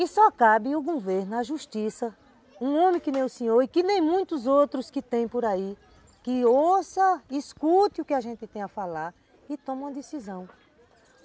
E só cabe o governo, a justiça, um homem que nem o senhor e que nem muitos outros que tem por aí, que ouça, escute o que a gente tem a falar e toma uma decisão.